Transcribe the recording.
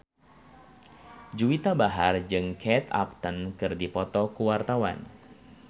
Juwita Bahar jeung Kate Upton keur dipoto ku wartawan